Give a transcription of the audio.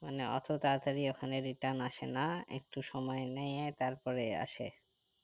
মানে অত তারা তারই ওখানে return আসে না একটু সময় নিয়ে তারপরে আসে